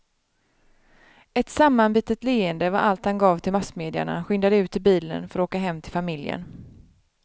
Ett sammanbitet leende var allt han gav till massmedia när han skyndade ut till bilen för att åka hem till familjen.